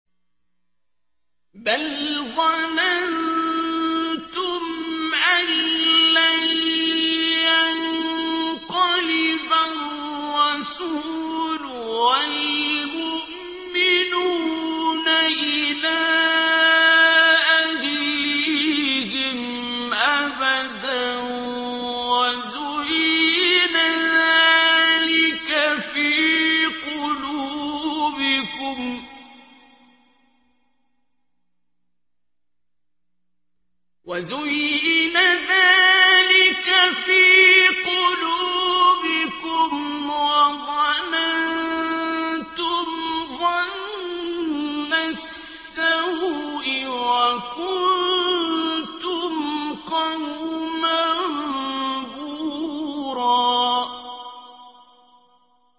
بَلْ ظَنَنتُمْ أَن لَّن يَنقَلِبَ الرَّسُولُ وَالْمُؤْمِنُونَ إِلَىٰ أَهْلِيهِمْ أَبَدًا وَزُيِّنَ ذَٰلِكَ فِي قُلُوبِكُمْ وَظَنَنتُمْ ظَنَّ السَّوْءِ وَكُنتُمْ قَوْمًا بُورًا